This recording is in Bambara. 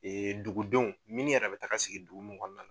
Dugudenw minnu yɛrɛ bɛ taga sigi dugu min kɔnɔna na.